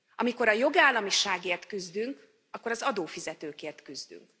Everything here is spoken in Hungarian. Amikor a jogállamiságért küzdünk, akkor az adófizetőkért küzdünk.